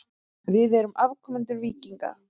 Við erum afkomendur víkinga.